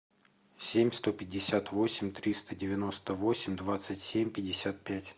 семь сто пятьдесят восемь триста девяносто восемь двадцать семь пятьдесят пять